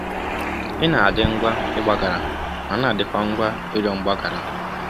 Ị na-adị ngwa ịgbaghara ma na-adịkwa ngwa ịrịọ mgbaghara.